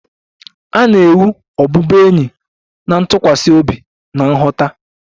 A na-ewu ọbụbụenyi na ntụkwasị obi na nghọta.